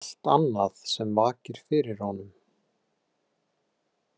Það er allt annað sem vakir fyrir honum.